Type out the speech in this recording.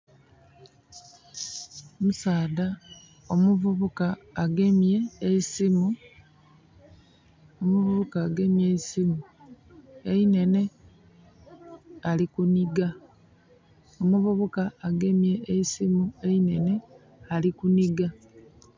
Omusaadha, omuvubuka agemye eisimu. Omuvubuka agemye eisimu einhenhe ali kunhiga